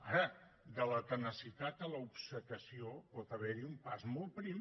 ara de la tenacitat a l’obcecació pot haverhi un pas molt prim